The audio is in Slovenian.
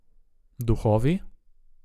Duhovi?